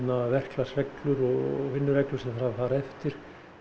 verklagsreglur og vinnureglur sem þarf að fara eftir